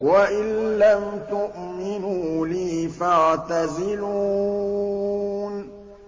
وَإِن لَّمْ تُؤْمِنُوا لِي فَاعْتَزِلُونِ